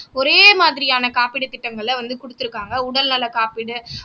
ஒரே மாதிரியான காப்பீடு திட்டங்களை வந்து குடுத்திருக்காங்க உடல்நல காப்பீடு